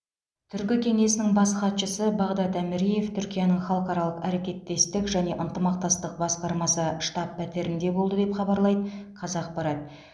түркі кеңесінің бас хатшысы бағдад әміреев түркияның халықаралық әрекеттестік және ынтымақтастық басқармасы штаб пәтерінде болды деп хабарлайды қазақпарат